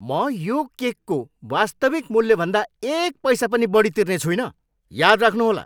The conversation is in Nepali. म यो केकको वास्तविक मूल्यभन्दा एक पैसा पनि बढी तिर्ने छुइनँ! याद राख्नुहोला!